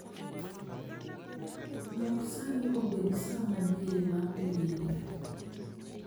Lok sani obed sa madiere ma piny india